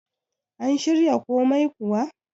an shirya komai kuwa?